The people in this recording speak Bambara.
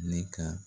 Ne ka